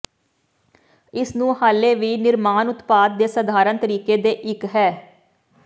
ਇਸ ਨੂੰ ਹਾਲੇ ਵੀ ਨਿਰਮਾਣ ਉਤਪਾਦ ਦੇ ਸਧਾਰਨ ਤਰੀਕੇ ਦੇ ਇੱਕ ਹੈ